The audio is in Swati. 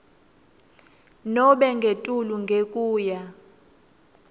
nobe ngetulu ngekuya